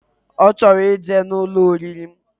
Ochoro ije na Ụlọ oriri.